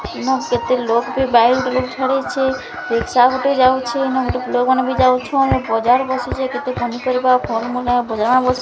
ଦିନକୁ କେତେ ଲୋକ ବି ରିକ୍ସା ଗୋଟେ ଯାଉଛେ ଅନେକ ଲୋକ ମାନେ ଯାଉଛନ ବଜାର ବସିଛେ କେତେ ପନିପରିବା ଫଲ ମୁଲ ବଜାର ବସିଛେ।